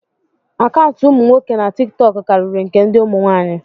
akaụntụ umu nwoke na tikitoku kariri nke ndi umu nwaanyi